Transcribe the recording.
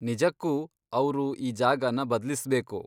ನಿಜಕ್ಕೂ ಅವ್ರು ಈ ಜಾಗನ ಬದ್ಲಿಸ್ಬೇಕು.